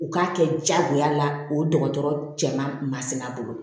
U k'a kɛ jagoya la o dɔgɔtɔrɔ cɛ mansi a bolo